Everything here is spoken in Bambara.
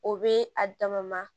O be a dama ma